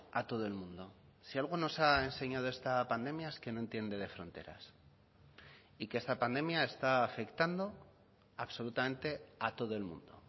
a todo el mundo si algo nos ha enseñado esta pandemia es que no entiende de fronteras y que esta pandemia está afectando absolutamente a todo el mundo